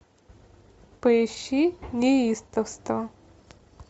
поищи неистовство